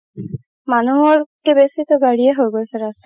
মানুহত কে বেচিতো গাড়ীয়ে হৈ গৈছে ৰাস্তা ঘাতত